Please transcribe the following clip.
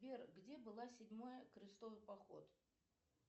сбер где была седьмая крестовый поход